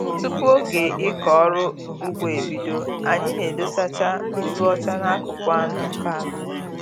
Tupu oge ịkọ ọrụ ugbo ebido, anyị na-edosacha nzụ ọcha n'akụkụ anọ nke ala ubi